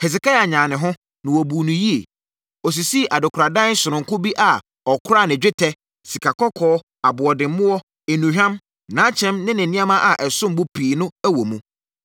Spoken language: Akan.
Hesekia nyaa ne ho, na wɔbuu no yie. Ɔsisii adekoradan sononko bi a ɔkoraa ne dwetɛ, sikakɔkɔɔ, aboɔdemmoɔ, nnuhwam, nʼakyɛm ne ne nneɛma a ɛsom bo pii no wɔ mu.